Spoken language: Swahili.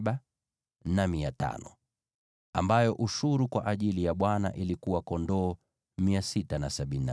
ambayo ushuru kwa ajili ya Bwana ilikuwa kondoo 675;